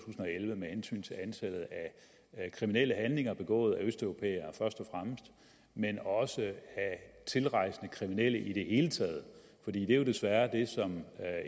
og elleve med hensyn til antallet af kriminelle handlinger begået af østeuropæere men også af tilrejsende kriminelle i det hele taget for det er jo desværre det som